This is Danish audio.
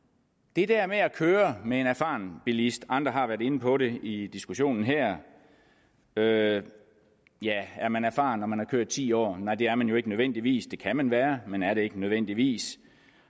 det her med at køre med en erfaren bilist andre har været inde på det i diskussionen her ja er man erfaren når man har kørt i ti år nej det er man jo ikke nødvendigvis det kan man være men er det ikke nødvendigvis